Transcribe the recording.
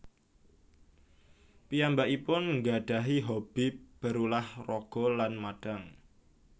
Piyambakipun ngggadahi hobi berulah raga lan madang